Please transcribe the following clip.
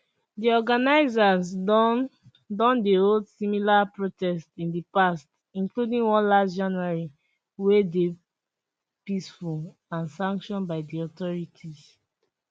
di organisers don don dey hold similar protests in di past including one last january whey dey peaceful and sanction by di authorities